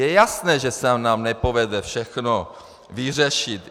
Je jasné, že se nám nepovede všechno vyřešit.